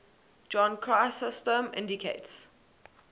john chrysostom indicates